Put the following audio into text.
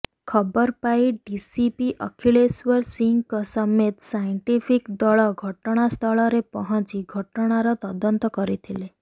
ଖବର ପାଇ ଡିସିପି ଅଖିଳେଶ୍ବର ସିଂହଙ୍କ ସମେତ ସାଇଣ୍ଟିଫିକ୍ ଦଳ ଘଟଣାସ୍ଥଳରେ ପହଞ୍ଚି ଘଟଣାର ତଦନ୍ତ କରିଥିଲେ